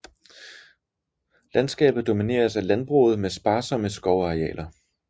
Landskabet domineres af landbruget med sparsomme skovarealer